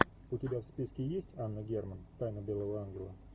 у тебя в списке есть анна герман тайна белого ангела